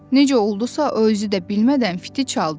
Necə oldusa, o özü də bilmədən fiti çaldı.